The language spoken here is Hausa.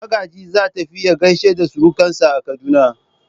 Magaji za tafi ya gaishe da surukansa a Kaduna.